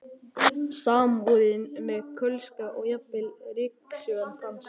Samúðin með Kölska og jafnvel ryksugan dansar.